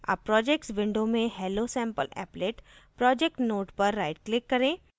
अब projects window में hellosampleapplet projects node पर right click करें